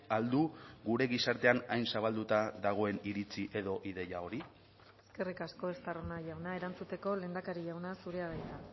al du gure gizartean hain zabalduta dagoen iritzi edo ideia hori eskerrik asko estarrona jauna erantzuteko lehendakari jauna zurea da hitza